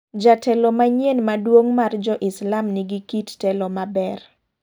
Jatelo manyien maduong' mar jo Islam ni gi kit telo maber.